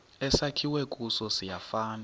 esakhiwe kuso siyafana